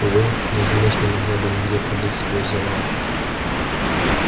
увы даже мышь не могла бы нигде пролезть сквозь завал